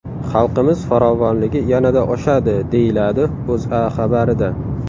Xalqimiz farovonligi yanada oshadi”, deyiladi O‘zA xabarida.